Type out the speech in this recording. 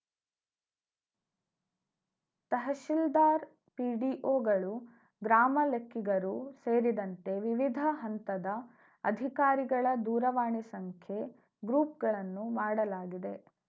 ತಹಶಿಲ್ದಾರ್‌ ಪಿಡಿಒಗಳು ಗ್ರಾಮ ಲೆಕ್ಕಿಗರು ಸೇರಿದಂತೆ ವಿವಿಧ ಹಂತದ ಅಧಿಕಾರಿಗಳ ದೂರವಾಣಿ ಸಂಖ್ಯೆ ಗ್ರೂಪ್‌ಗಳನ್ನು ಮಾಡಲಾಗಿದೆ